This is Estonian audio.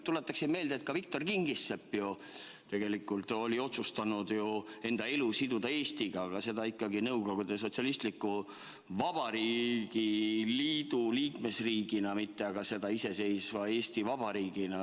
Tuletan meelde, et ka Viktor Kingissepp tegelikult oli ju otsustanud enda elu siduda Eestiga – aga ikkagi Nõukogude Sotsialistlike Vabariikide Liidu liikmesriigiga, mitte iseseisva Eesti Vabariigiga.